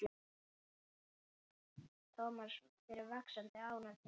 Thomas fann fyrir vaxandi ónotum.